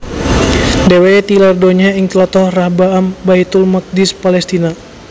Dheweke tilar donya ing tlatah Rahbaam Baitul Maqdis Palestina